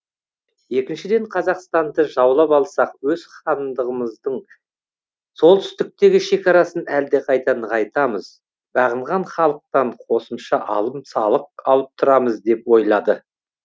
екіншіден қазақстанды жаулап алсақ өз хандығымыздың солтүстіктегі шекарасын әлдеқайда нығайтамыз бағынған халықтан қосымша алым салық алып тұрамыз деп ойлады